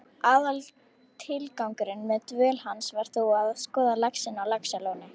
Aðaltilgangurinn með dvöl hans var þó að skoða laxinn á Laxalóni.